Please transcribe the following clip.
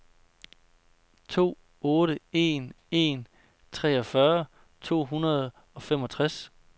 to otte en en treogfyrre to hundrede og femogtres